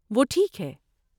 وہ ٹھیک ہے۔